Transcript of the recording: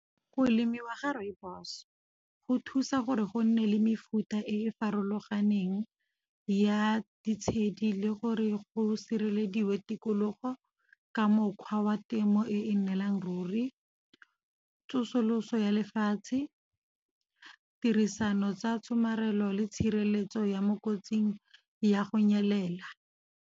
Go lemiwa ga rooibos go thusa gore go nne le mefuta e farologaneng ya ditshedi, le gore go sirelediwa tikologo ka mokgwa wa temo e e nnelang ruri. Tsosoloso ya lefatshe, tirisano tsa tshomarelo le tshireletso ya mo kotsing ya go nyelela.